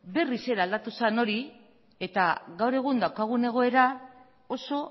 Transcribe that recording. berriz ere aldatu zen hori eta gaur egun daukagun egoera oso